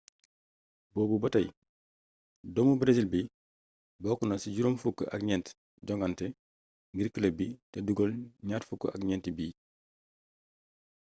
boobu batay doomu breesil bi bokkna ci juroom fukk ak gnett jongante ngir club bi té dugeel gnar fukk ak gnenti bit